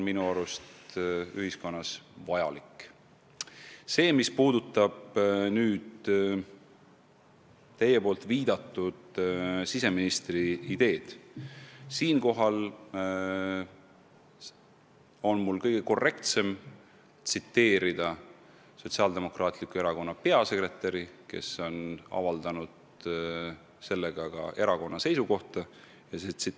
Mis puudutab teie viidatud siseministri ideed, siis siinkohal on mul kõige korrektsem tsiteerida Sotsiaaldemokraatliku Erakonna peasekretäri, kes on avaldanud erakonna seisukoha selles küsimuses.